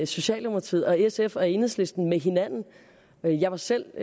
socialdemokratiet og sf og enhedslisten med hinanden jeg var selv